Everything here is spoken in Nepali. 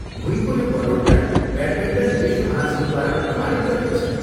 भुइँको यो बनोटलाई ब्याटमिन्टन विश्व महासङ्घद्वारा प्रमाणित गरिन्छ।